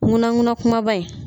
Ŋunanŋunan kumaba in